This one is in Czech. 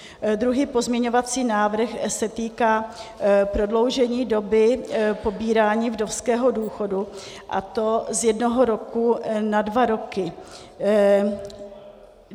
Druhý pozměňovací návrh se týká prodloužení doby pobírání vdovského důchodu, a to z jednoho roku na dva roky.